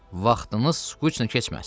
Vaxtınız skuçnu keçməsin.